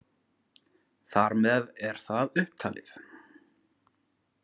Þar með er það upptalið.